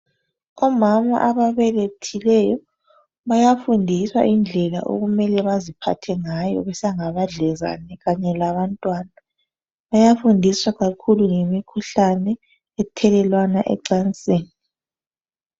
Omama ababelethileyo bayafundiswa indlela okumele baziphathe ngayo besangabadlezane kanye labantwana. Bayafundiswa kakhulu ngemikhuhlane ethelelwana emacansini.